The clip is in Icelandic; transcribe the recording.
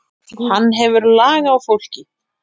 Hann hefur lag á fólki.